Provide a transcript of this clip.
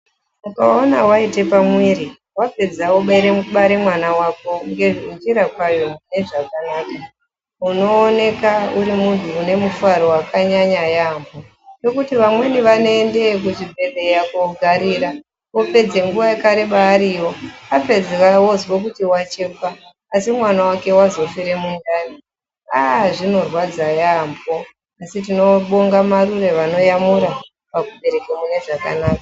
Ukaona waite pamuviri wapedza obare mwana wako ngenzira kwayo ngezvakanaka unoonekwa urimunhu ane mufaro wakanyanya ngekuti vamweni vanoenda kuzvibhedhlera kunogarira vopedze nguva yakareba variyo apedza onzwa kuti achekwa asi mwana wake azofire mundani aaa zvinorwadza yambo asi tinobonga marure vanoyamura pakubereka mune zvakanaka.